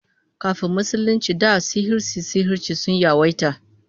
Kafin Musulunci da sihirce-sihirce sun yawaita